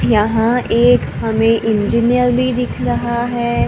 यहां एक हमें इंजीनियर भी दिख रहा है।